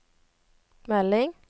melding